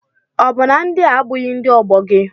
Ọ bụ na ndị a abụghị ndị ọgbọ gị?